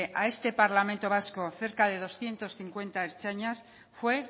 a este parlamento vasco cerca de doscientos cincuenta ertzainas fue